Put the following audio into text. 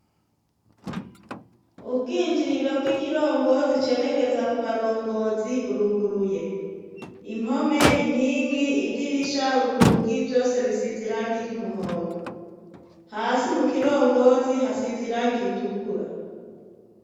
ubwinjiriro bw'ikirongozi cerekeza ku barongozi buruguruye impome inkingi idirisha urugi vyose bisize irangi ry'umuhondo hasi mu kirongozi hasiziranga iritukura